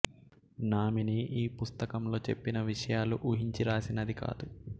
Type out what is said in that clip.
nominee ఈ పుస్తకంలో చెప్పిన విషయాలు ఉహించి రాసినది కాదు